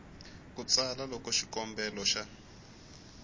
ku tsala loko xikombelo xa